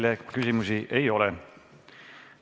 Teile küsimusi ei ole.